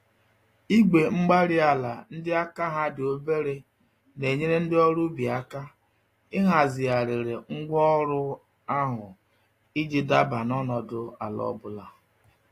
Igwe-mgbárí-ala ndị àkà ha dị obere nenyere ndị ọrụ ubi àkà, ị hazigharịrị ngwá ọrụ ahụ, iji daba n'ọnọdụ àlà ọbula